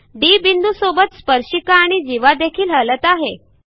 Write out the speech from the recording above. D बिंदू सोबत स्पर्शिका आणि जीवा देखील हलत आहे